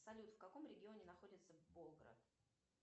салют в каком регионе находится болград